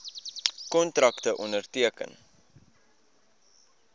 kontrakte onderteken